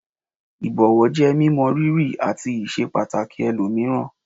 Ìbọ̀wọ̀ jẹ́ mímọ rírì àti ìṣepàtàkì ẹlòmíràn.